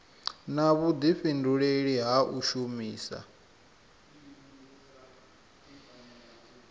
na vhudifhinduleli ha u shumisa